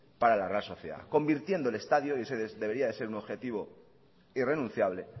para la real sociedad convirtiendo el estadio y ese debería de ser un objetivo irrenunciable